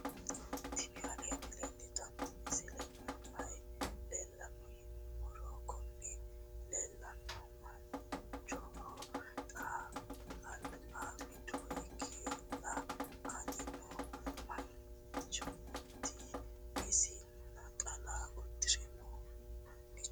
tini aleni leltano misileni maayi leelano yinnumoro. kuuni lelahu manchoho xaa alba wido higela "ani noo manchoti isi naxala udiire noo. nchu